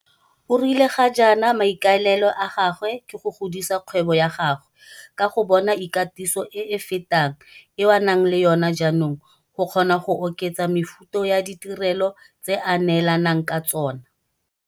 O rile ga jaana maikaelelo a gagwe ke go godisa kgwebo ya gagwe ka go bona ikatiso e e fetang eo a nang le yona jaanong go kgona go oketsa mefuta ya ditirelo tse a neelanang ka tsona.